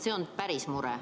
See on päris mure.